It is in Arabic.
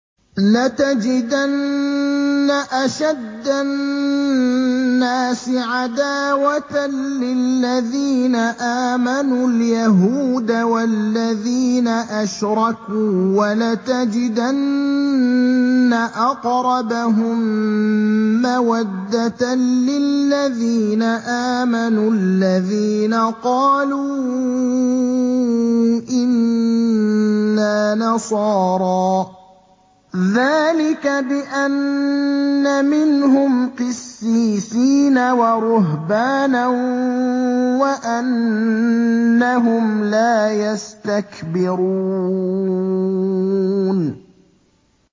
۞ لَتَجِدَنَّ أَشَدَّ النَّاسِ عَدَاوَةً لِّلَّذِينَ آمَنُوا الْيَهُودَ وَالَّذِينَ أَشْرَكُوا ۖ وَلَتَجِدَنَّ أَقْرَبَهُم مَّوَدَّةً لِّلَّذِينَ آمَنُوا الَّذِينَ قَالُوا إِنَّا نَصَارَىٰ ۚ ذَٰلِكَ بِأَنَّ مِنْهُمْ قِسِّيسِينَ وَرُهْبَانًا وَأَنَّهُمْ لَا يَسْتَكْبِرُونَ